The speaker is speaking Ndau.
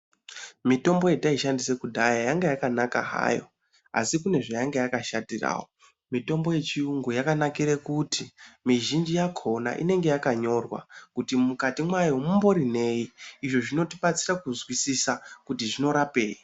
Mitombo yataishandisa kudhaya yainge yakanaka hayo asi kune zvayanga yakashatirawo mitombo yechirungu yakanakira kuti mizhinji yakona inenge yakanyorwa kuti Mukati mwayo munenge munei izvi zvinotibatsira kuzwisisa kuti zvinorapei.